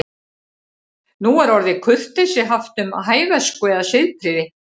Nú er orðið kurteisi haft um hæversku eða siðprýði.